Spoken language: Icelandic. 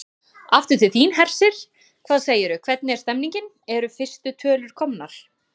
Aftur til þín, Hersir, hvað segirðu, hvernig er stemningin, eru fyrstu tölur komnar?